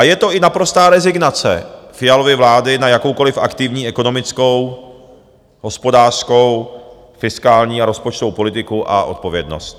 A je to i naprostá rezignace Fialovy vlády na jakoukoliv aktivní ekonomickou, hospodářskou, fiskální a rozpočtovou politiku a odpovědnost.